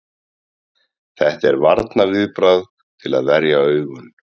Þetta er varnarviðbragð til að verja augun.